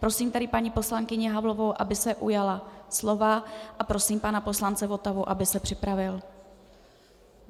Prosím tedy paní poslankyni Havlovou, aby se ujala slova, a prosím pana poslance Votavu, aby se připravil.